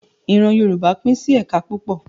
Ìran Yorùbá pín sí ẹ̀ka púpọ̀